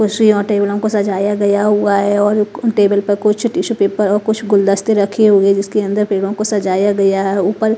कुर्शी और टेबलों को सजाया गया हुआ है और कु टेबल पर कुछ टिशु पेपर और कुछ गुलदस्ते रखे हुए है जिसके अंदर पेड़ो को सजाया गया है ऊपर--